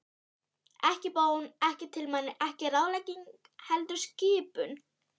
Ekki bón, ekki tilmæli, ekki ráðlegging, heldur skipun.